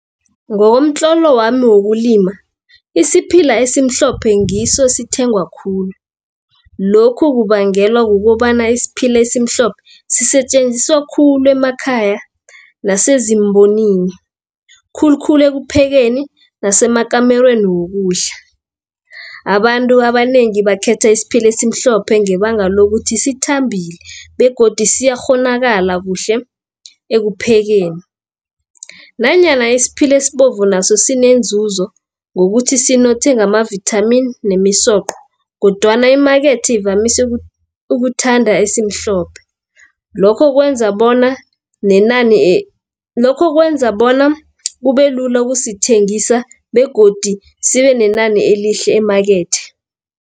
Ngokomtlolo wami wokulima, isiphila esimhlophe ngiso esithengwa khulu. Lokhu kubangelwa kukobana isiphila esimhlophe sisetjenziswa khulu emakhaya nasezimbonini khulukhulu ekuphekeni nasemakamareni wokudla. Abantu abanengi bakhetha isiphila esimhlophe ngebanga lokuthi sithambile, begodu siyakghonakala kuhle ekuphekeni, nanyana isiphile esibovu naso sinenzunzo ngokuthi sinothe ngamavithamini nemisoqo, kodwana imakethe ivamise ukuthanda esimhlophe. Lokho kwenza bona kubemlula ukusithengisa begodu sibe nenani elihle emakethe.